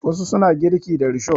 Wasu suna girki da risho.